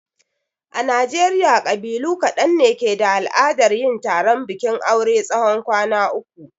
A najeriya ƙabilu ƙadan ne ke da al'adar yin taron bikin aure tsawon kwan uku.